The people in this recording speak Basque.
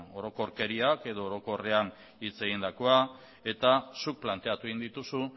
orokorkeriak edo orokorrean hitz egindakoa eta zuk planteatu egin dituzu